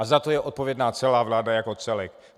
A za to je odpovědná celá vláda jako celek.